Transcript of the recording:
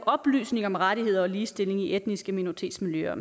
oplyse om rettigheder og ligestilling i etniske minoritetsmiljøer og